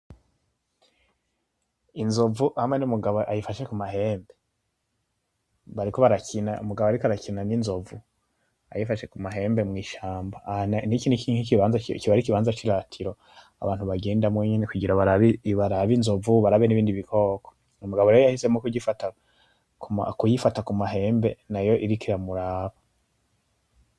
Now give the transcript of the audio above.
Inzovu hamwe numugabo ayifashe kumahambe bariko barakina. Umugabo ariko arakina n'inzovu ayifashe kumahembe mwishamba. Niki kiba arikibanza ciratiro abantu bagendamwo nyene kugira barabe inzovu, barabe nibindi bikoko. Uyu mugabo rero yahisemo kuyifata kumahembe nayo iriko iramuraba.